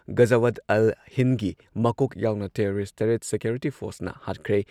ꯒꯖꯋꯠ ꯑꯜ ꯍꯤꯟꯗꯒꯤ ꯃꯀꯣꯛ ꯌꯥꯎꯅ ꯇꯦꯔꯣꯔꯤꯁꯠ ꯇꯔꯦꯠ ꯁꯤꯀ꯭ꯌꯣꯔꯤꯇꯤ ꯐꯣꯔꯁꯅ ꯍꯥꯠꯈ꯭ꯔꯦ ꯫